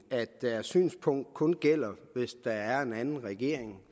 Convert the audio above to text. at deres synspunkt kun gælder hvis der kommer en anden regering